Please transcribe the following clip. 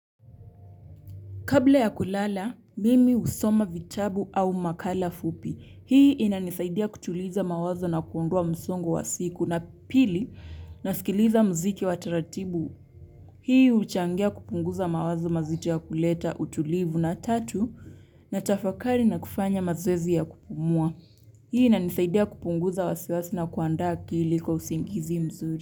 Kabla ya kulala, mimi husoma vitabu au makala fupi. Hii inanisaidia kutuliza mawazo na kuondoa msongo wa siku. Na pili, nasikiliza muziki wa taratibu. Hii huchangia kupunguza mawazo mazito na kuleta utulivu na tatu, natafakari na kufanya mazoezi ya kupumua. Hii inanisaidia kupunguza wasiwasi na kuandaa akili kwa usingizi mzuri.